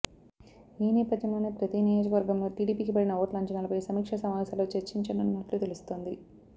ఈ నేపథ్యంలోనే ప్రతి నియోజకర్గంలో టీడీపీకి పడిన ఓట్ల అంచనాలపై సమీక్షా సమావేశాల్లో చర్చించనున్నట్లు తెలుస్తోంది